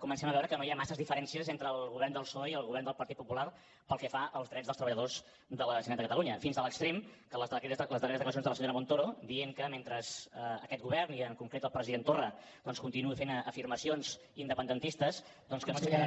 comencem a veure que no hi ha masses diferències entre el govern del psoe i el govern del partit popular pel que fa als drets dels treballadors de la generalitat de catalunya fins a l’extrem de les darreres declaracions de la senyora montero dient que mentre aquest govern i en concret el president torra continuï fent afirmacions independentistes doncs no aixecaran